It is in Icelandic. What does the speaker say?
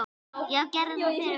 Já, gerðu það fyrir mig!